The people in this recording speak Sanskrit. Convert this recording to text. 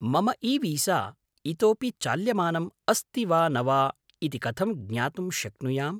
मम ईवीसा इतोऽपि चाल्यमानं अस्ति वा न वा इति कथं ज्ञातुं शक्नुयाम्?